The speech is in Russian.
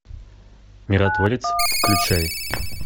миротворец включай